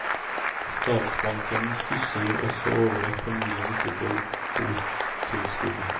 Statsbanken stusser også over at familien ikke får botilskudd.